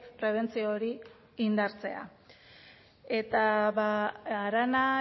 prebentzio hori indartzea eta arana